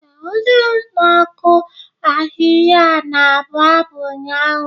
Ee, onye na-akụ ahịhịa na-abụ abụ ụnyaahụ.